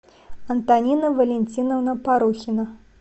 антонина валентиновна порухина